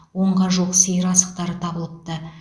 онға жуық сиыр асықтары табылыпты